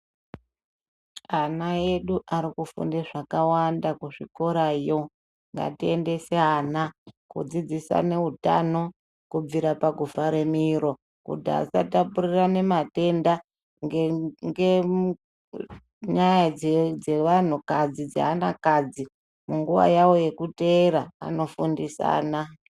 Ana edu arikufunde zvakawanda kuzvikurayo ngatiendese ana kudzidzisane utano kubvira pakuvhare miro kuti vasatapurirane matenda ngenyaya dzevantu kadzi dzeanakadzi munguva yavo yekuteera vanofundisana.